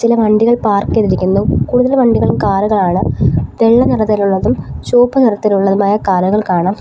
ചില വണ്ടികൾ പാർക്ക് ചെയ്തിരിക്കുന്നു കൂടുതൽ വണ്ടികളും കാറുകളാണ് വെള്ള നിറത്തിലുള്ളതും ചുവപ്പ് നിറത്തിലുള്ളതുമായ കാറുകൾ കാണാം.